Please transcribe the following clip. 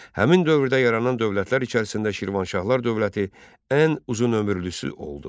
Həmin dövrdə yaranan dövlətlər içərisində Şirvanşahlar dövləti ən uzunömürlüsü oldu.